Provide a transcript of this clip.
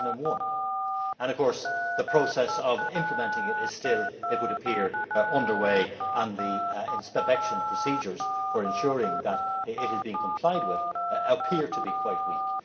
2001. Of course, the process of implementing it is still, it would appear, under way, and the inspection procedures for ensuring that it is being complied with appear to be quite weak.